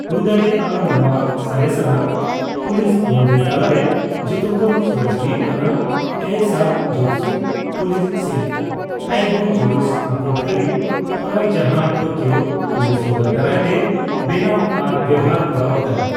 ᱦᱩᱭᱫᱟᱲᱮᱭᱟᱜᱼᱟ ᱱᱚᱣᱟ ᱥᱚᱨᱮᱥᱟᱱᱟᱜ ᱯᱩᱞᱤᱥ ᱵᱚᱱᱫᱮᱡ ᱛᱟᱞᱟᱨᱮ ᱡᱚᱛᱚᱠᱷᱚᱱ ᱥᱚᱨᱮᱥ ᱦᱩᱭᱩᱜ ᱠᱟᱱᱟ ᱠᱮᱭᱥᱟᱫᱡᱩᱫᱥᱩ (ᱯᱩᱞᱤᱥ ᱥᱤᱞᱯᱚ) ᱛᱟᱭᱦᱳ ᱡᱩᱫᱥᱩ (ᱟᱠᱚᱴ ᱠᱟᱹᱨᱤ) ᱦᱚᱨᱟ ᱡᱟᱦᱟᱸ ᱴᱳᱠᱤᱭᱳ ᱯᱩᱞᱤᱥ ᱦᱩᱫᱟᱹ ᱫᱟᱨᱟᱭᱛᱮ ᱵᱮᱱᱟᱣ ᱟᱨ ᱵᱮᱣᱦᱟᱨ ᱠᱚᱨᱟᱣ ᱟᱠᱟᱱᱟ ᱾